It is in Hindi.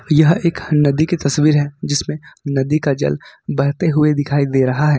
यह एक नदी की तस्वीर है जिसमें नदी का जल भरते हुए दिखाई दे रहा है।